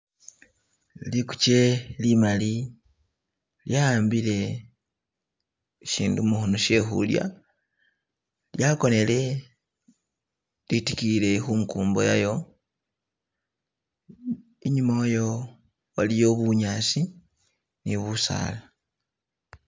Liguje limali lyahambile shindu mukhono kyehulya lyagonele lidigiyile ku khumbo yalyo innyuma walyo waliyo bunyasi ni busaala.